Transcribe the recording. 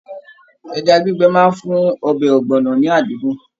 Ẹja gbígbẹ máa n fún ọbẹ ọgbọnọ ní adídun.